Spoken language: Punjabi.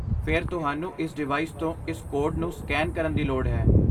ਫਿਰ ਤੁਹਾਨੂੰ ਇਸ ਡਿਵਾਈਸ ਤੋਂ ਇਸ ਕੋਡ ਨੂੰ ਸਕੈਨ ਕਰਨ ਦੀ ਲੋੜ ਹੈ।